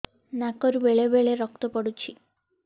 ନାକରୁ ବେଳେ ବେଳେ ରକ୍ତ ପଡୁଛି